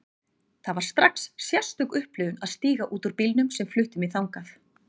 Það var strax sérstök upplifun að stíga út úr bílnum sem flutti mig þangað.